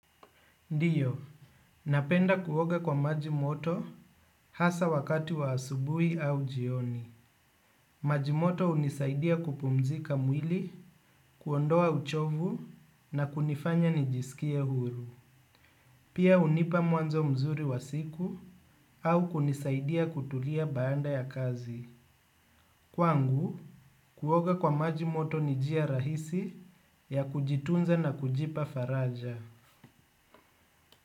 Ndio, napenda kuoga kwa majimoto hasa wakati wa asubuhi au jioni. Majimoto hunisaidia kupumzika mwili, kuondoa uchovu na kunifanya nijisikie huru. Pia hunipa mwanzo mzuri wa siku au kunisaidia kutulia baada ya kazi. Kwangu, kuoga kwa majimoto nijia rahisi ya kujitunza na kujipa faraja.